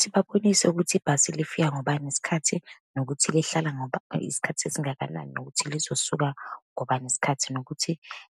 Sibabonise ukuthi ibhasi lifika ngobani isikhathi, nokuthi lihlala isikhathi esingakanani, nokuthi lizosuka ngobani isikhathi, nokuthi